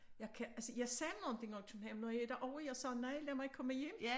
Jeg kan altså jeg sagde nogen ting når jeg er i København når jeg er derovre jeg sagde nej lad mig komme hjem